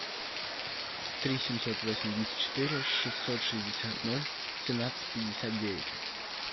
три семьсот восемьдесят четыре шестьсот шестьдесят ноль семнадцать пятьдесят девять